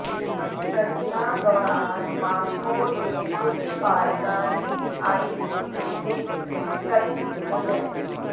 ਸਰਦੀਆਂ ਦੌਰਾਨ ਮਾਸਕੋ ਦੇ ਕੁਝ ਪਾਰਕਾਂ ਨੇ ਆਈਸ ਸਕੇਟਿੰਗ ਰਿੰਕਸ ਖੋਲ੍ਹਿਆ